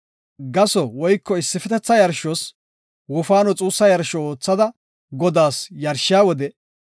Gaso woyko issifetetha yarshos wofaano xuussa yarsho oothada Godaas yarshiya wode,